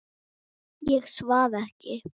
Ég svaf ekki.